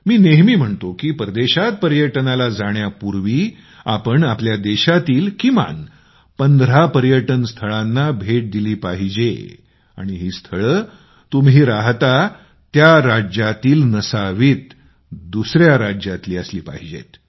मी नेहमी म्हणतो की परदेशात पर्यटनाला जाण्यापूर्वी आपण आपल्या देशातील किमान 15 पर्यटन स्थळांना भेट दिली पाहिजे आणि ही स्थळे तुम्ही राहता त्या राज्यातील नसावीत दुसऱ्या राज्यातील असली पाहिजे